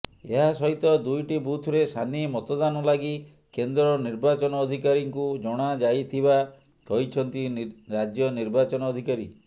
ଏହାସହିତ ଦୁଇଟି ବୁଥରେ ସାନି ମତଦାନ ଲାଗି କେନ୍ଦ୍ର ନିର୍ବାଚନ ଅଧିକାରୀଙ୍କୁ ଜଣାଯାଇଥିବା କହିଛନ୍ତି ରାଜ୍ୟ ନିର୍ବାଚନ ଅଧିକାରୀ